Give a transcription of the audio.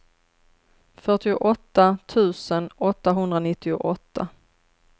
fyrtioåtta tusen åttahundranittioåtta